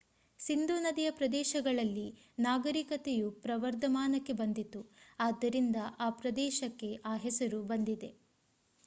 ಸಿಂಧೂ ನದಿಯ ಪ್ರದೇಶಗಳಲ್ಲಿ ನಾಗರಿಕತೆಯು ಪ್ರವರ್ಧಮಾನಕ್ಕೆ ಬಂದಿತು ಆದ್ದರಿಂದ ಆ ಪ್ರದೇಶಕ್ಕೆ ಆ ಹೆಸರು ಬಂದಿದೆ